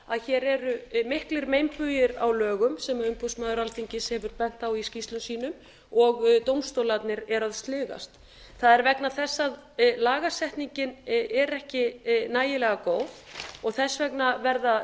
að hér eru miklir meinbugir á lögum sem umboðsmaður alþingis hefur bent á í skýrslum sínum og dómstólarnir eru að sligast það er vegna þess að lagasetningin er ekki nægilega góð og þess vegna verða